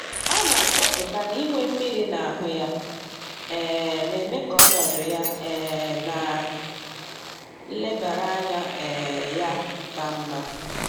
Ọ na-achọpụta na inwe mmiri na ahụ ya, um na-eme ka ọnọdụ ya um na nlebara anya um ya ka mma.